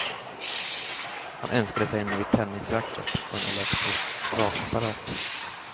Han önskade sig en ny tennisracket och en elektrisk rakapparat.